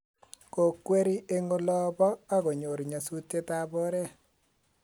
ko kweri eng ola puh ako nyor nyasutiet ab oret